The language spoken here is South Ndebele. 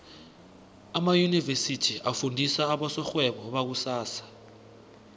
amaunivesithi afundisa abosorhwebo bakusasa